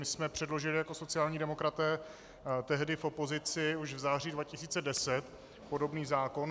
My jsme předložili jako sociální demokraté tehdy v opozici už v září 2010 podobný zákon.